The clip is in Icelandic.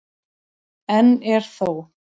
Enn er þó